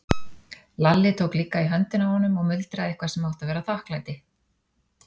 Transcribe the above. Lalli tók líka í höndina á honum og muldraði eitthvað sem átti að vera þakklæti.